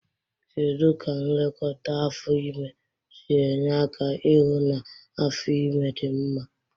Kedu ka nlekọta afọ ime si enye aka ihụ na afo ime dị mma?